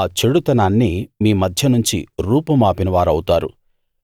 ఆ చెడుతనాన్ని మీ మధ్యనుంచి రూపుమాపిన వారవుతారు